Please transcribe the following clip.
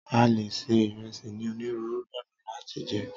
a lè ṣe ìresì ni oniruuru ọnà lat jẹ